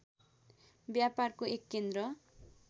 व्यापारको एक केन्द्र